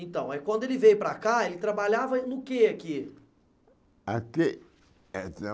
Então, quando ele veio para cá, ele trabalhava no quê aqui? Aqui